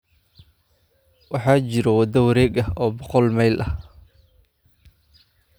waxaa jira waddo wareeg ah oo boqol mayl ah